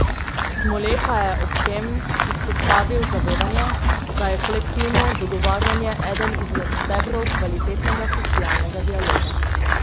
Smole pa je ob tem izpostavil zavedanje, da je kolektivno dogovarjanje eden izmed stebrov kvalitetnega socialnega dialoga.